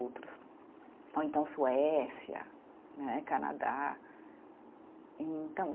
Outros, ou então Suécia né, Canadá, e então